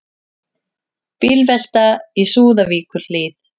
Bílvelta í Súðavíkurhlíð